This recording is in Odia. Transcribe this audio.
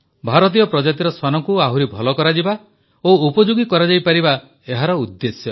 ଭାରତୀୟ ପ୍ରଜାତିର ଶ୍ୱାନଙ୍କୁ ଆହୁରି ଭଲ କରାଯିବା ଓ ଉପଯୋଗୀ କରାଯାଇପାରିବା ଏହାର ଉଦ୍ଦେଶ୍ୟ